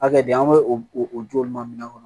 Hakɛ de an bɛ o o joma minɛn kɔnɔ